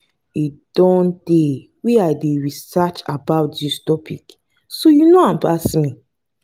e don tey wey i dey research about dis topic so you no know am pass me